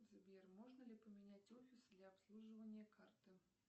сбер можно ли поменять офис для обслуживания карты